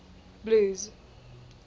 blues